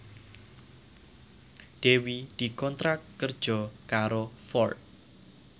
Dewi dikontrak kerja karo Ford